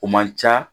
O man ca